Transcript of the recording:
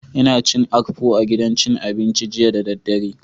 Ina cin akpu a gidan cin abinci jiya da daddare